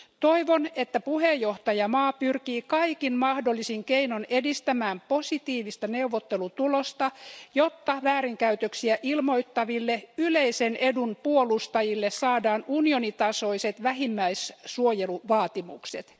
Toivon, että puheenjohtajamaa pyrkii kaikin mahdollisin keinoin edistämään positiivista neuvottelutulosta, jotta väärinkäytöksiä ilmoittaville yleisen edun puolustajille saadaan unionin tasoiset vähimmäissuojeluvaatimukset.